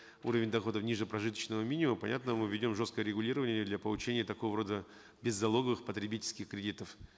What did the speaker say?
уровень доходов ниже прожиточного минимума понятно мы введем жесткое регулирование для получения такого рода беззалоговых потребительских кредитов